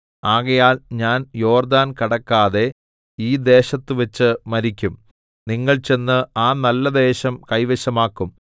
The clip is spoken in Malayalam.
ആകയാൽ ഞാൻ യോർദ്ദാൻ കടക്കാതെ ഈ ദേശത്തുവെച്ച് മരിക്കും നിങ്ങൾ ചെന്ന് ആ നല്ലദേശം കൈവശമാക്കും